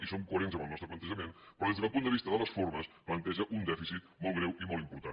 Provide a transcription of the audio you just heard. i som coherents amb el nostre plantejament però des del punt de vista de les formes planteja un dèficit molt greu i molt important